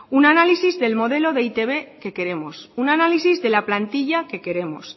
un análisis del modelo de e i te be que queremos un análisis de la plantilla que queremos